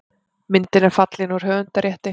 Myndin er fallin úr höfundarrétti.